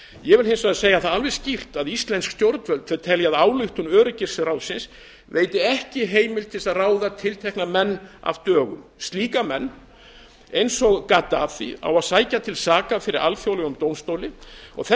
ég vil hins vegar segja það alveg skýrt að íslensk stjórnvöld telja að ályktun öryggisráðsins veiti ekki heimild til að ráða tiltekna menn af dögum menn eins og gaddafí á að sækja til saka fyrir alþjóðlegum dómstóli og þess